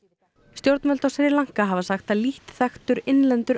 stjórnvöld á Sri Lanka hafa sagt að lítt þekktur innlendur